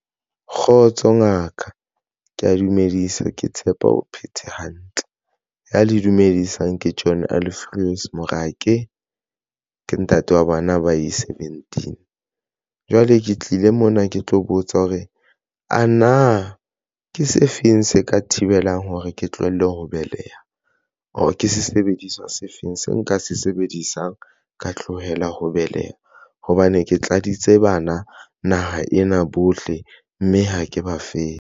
Kgotso ngaka ke ya dumedisa, ke tshepa o phetse hantle, ya le dumedisang ke John Alfios Morake ke ntate wa bana ba ye seventeen. Jwale ke tlile mona, ke tlo botsa hore a na ke se feng se ka thibelang hore ke tlohelle ho beleha, or ke sesebediswa se feng se nka se sebedisang ka tlohela ho beleha hobane ke tladitse bana naha ena bohle mme ha ke ba fepe.